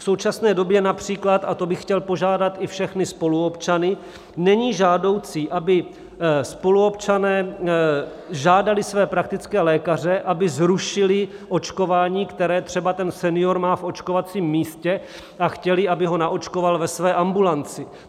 V současné době například, a to bych chtěl požádat i všechny spoluobčany, není žádoucí, aby spoluobčané žádali své praktické lékaře, aby zrušili očkování, které třeba ten senior má v očkovacím místě, a chtěli, aby ho naočkoval ve své ambulanci.